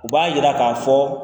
U b'a jira k'a fɔ